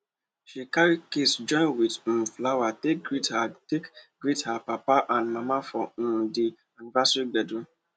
she carry kiss join with um flower take greet her take greet her papa and mama for um di anniversary gbedu